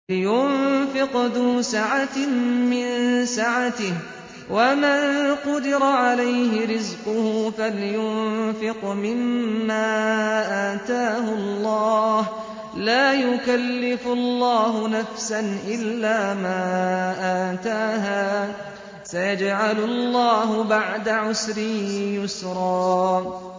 لِيُنفِقْ ذُو سَعَةٍ مِّن سَعَتِهِ ۖ وَمَن قُدِرَ عَلَيْهِ رِزْقُهُ فَلْيُنفِقْ مِمَّا آتَاهُ اللَّهُ ۚ لَا يُكَلِّفُ اللَّهُ نَفْسًا إِلَّا مَا آتَاهَا ۚ سَيَجْعَلُ اللَّهُ بَعْدَ عُسْرٍ يُسْرًا